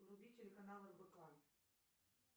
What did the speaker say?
вруби телеканал рбк